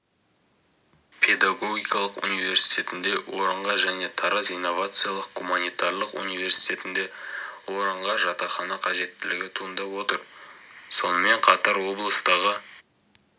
педагогикалық университетінде орынға және тараз инновациялық-гуманитарлық университетінде орынға жатақхана қажеттілігі туындап отыр сонымен қатар облыстағы